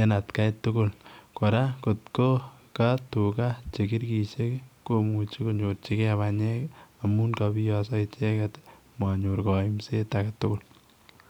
en atkai tukul kora kot ko ka tuka che kirkishek komuche konyorchi ke banyek amun kobiaso icheket amun manyor kaimset agetukul